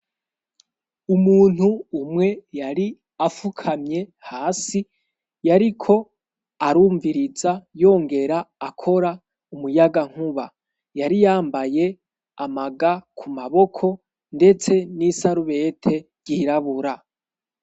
Umuntu umwe yari afukamye hasi yariko arumviriza yongera akora umuyaga nkuba yari yambaye amaga ku maboko ndetse n'isarubete ryirabura.